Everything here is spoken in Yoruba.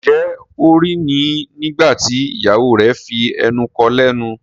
Njé O rí ní nígbàtí ìyàwó rẹ fí enú kò lénu?